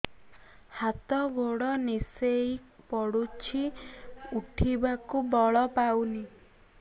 ହାତ ଗୋଡ ନିସେଇ ପଡୁଛି ଉଠିବାକୁ ବଳ ପାଉନି